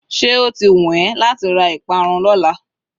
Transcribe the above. se oti wun eee lati ra iparun Lola?